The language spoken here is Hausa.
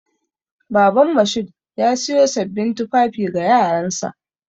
Baban Mashood ya siyo sabbin tufafi ga yaransa.